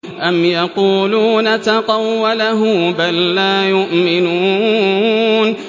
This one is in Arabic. أَمْ يَقُولُونَ تَقَوَّلَهُ ۚ بَل لَّا يُؤْمِنُونَ